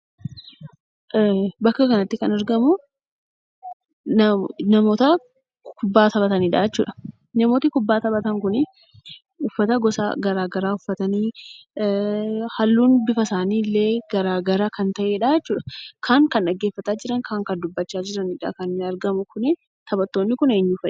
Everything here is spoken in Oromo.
Bakka kanatti kan argamuu namoota kubbaa taphatanidha jechuudha. Namootni kubbaa taphatan kunii uffata gosa garaa garaa uffatanii halluun bifa isaanii illee garaa gara kan ta'e dha jechuudha. kaan kan dhaggeeffataa jiran kaan kan dubbataa jiranidha kan argamu kunii . Taphattoonni kun eenyu fa'i?